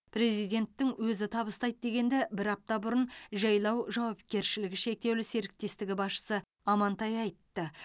президенттің өзі табыстайды дегенді бір апта бұрын жайлау жауапкершілігі шектеулі серіктестігі басшысы амантай айтты